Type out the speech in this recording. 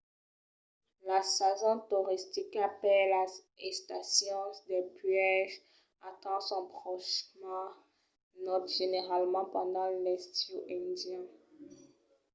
la sason toristica per las estacions dels puèges atenh son ponch mai naut generalament pendent l’estiu indian